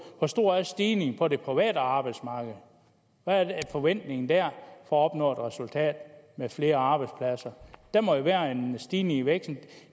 hvor stor er stigningen på det private arbejdsmarked hvad er forventningen der for at opnå et resultat med flere arbejdspladser der må jo være en stigning i væksten